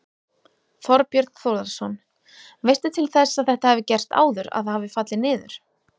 Þorbjörn Þórðarson: Veistu til þess að þetta hafi gerst áður, að það hafi fallið niður?